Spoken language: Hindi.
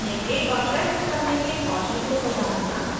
सुनने की और प्रश्न करने के कौशल को सुधारना